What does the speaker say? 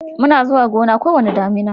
muna zuwa Gona ko wani damina